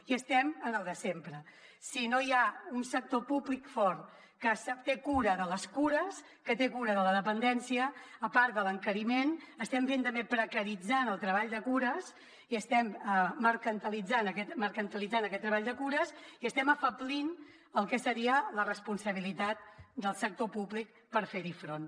i estem en el de sempre si no hi ha un sector públic fort que té cura de les cures que té cura de la dependència a part de l’encariment estem també precaritzant el treball de cures i estem mercantilitzant aquest treball de cures i estem afeblint el que seria la responsabilitat del sector públic per fer hi front